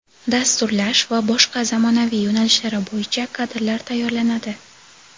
dasturlash va boshqa zamonaviy yoʼnalishlari boʼyicha kadrlar tayyorlanadi.